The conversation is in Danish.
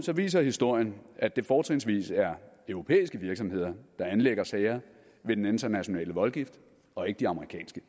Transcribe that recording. viser historien at det fortrinsvis er europæiske virksomheder der anlægger sager ved den internationale voldgift og ikke de amerikanske